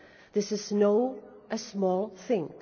This is no small thing.